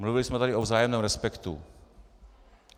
Mluvili jsme tady o vzájemném respektu.